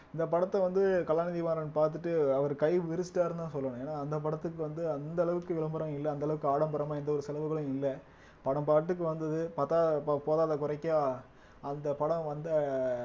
இந்த படத்தை வந்து கலாநிதிமாறன் பாத்துட்டு அவர் கை விரிச்சிட்டாருன்னுதான் சொல்லணும் ஏன்னா அந்த படத்துக்கு வந்து அந்த அளவுக்கு விளம்பரம் இல்ல அந்த அளவுக்கு ஆடம்பரமா எந்த ஒரு செலவுகளும் இல்ல படம் பாட்டுக்கு வந்தது பாத்தா போ போதாதா குறைக்கு அந்த படம் வந்த